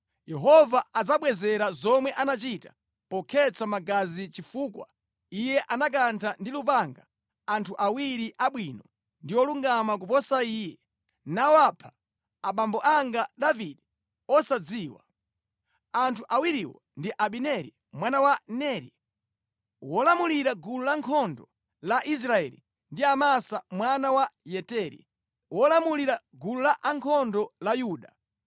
Yehova adzamubwezera zomwe anachita pokhetsa magazi, chifukwa iye anakantha ndi lupanga anthu awiri abwino ndi olungama kuposa iye, nawapha, abambo anga Davide osadziwa. Anthu awiriwo ndi Abineri mwana wa Neri, wolamulira gulu lankhondo la Israeli ndi Amasa mwana wa Yeteri, wolamulira gulu lankhondo la Yuda.